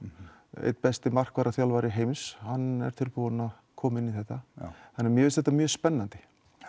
einn besti heims hann er tilbúinn að koma inn í þetta þannig að mér finnst þetta mjög spennandi